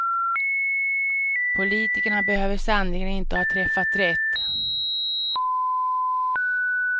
Politikerna behöver sannerligen inte ha träffat rätt.